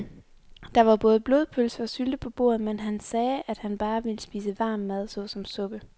Der var både blodpølse og sylte på bordet, men han sagde, at han bare ville spise varm mad såsom suppe.